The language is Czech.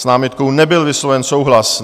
S námitkou nebyl vysloven souhlas.